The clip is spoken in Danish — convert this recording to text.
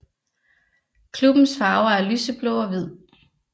Klubbens farver er lyseblå og hvid